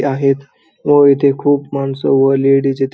ते आहेत व इथे खूप माणसं व लेडीज इ --